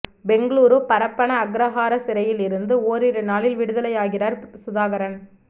பெங்களூரு பரப்பன அக்ரஹாரா சிறையில் இருந்து ஓரிரு நாளில் விடுதலை ஆகிறார் சுதாகரன்